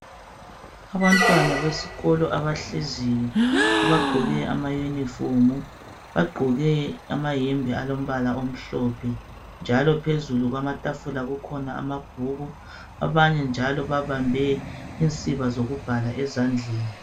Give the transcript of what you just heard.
Abantwana besikolo abahleziyo abagqoke ama uniform bagqoke amayembe alombala omhlophe njalo phezulu kwamabhokisi kukhona amabhuku abanye njalo babambe insiba zokubhala ezandleni.